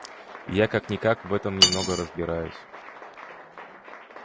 я как-никак в этом немного разбираюсь